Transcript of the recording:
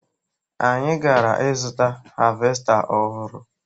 Anyị gara ịzụta havesta ọhụrụ